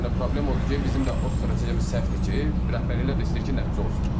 Yəni problem odur ki, bizim də o strategiyamız səhvdir ki, rəhbərliklər də istəyir ki, nəticə olsun.